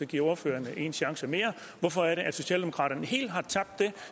give ordføreren en chance mere hvorfor er det at socialdemokraterne helt har tabt det